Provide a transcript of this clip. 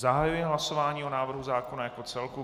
Zahajuji hlasování o návrhu zákona jako celku.